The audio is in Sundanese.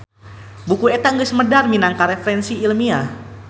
Buku eta geus medar minangka referensi Ilmiah.